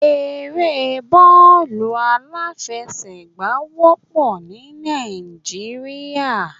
Eré bọ́ọ̀lù aláfẹsẹ̀gbá wópọ̀ ní Náìjíríà